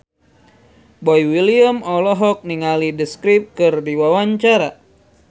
Boy William olohok ningali The Script keur diwawancara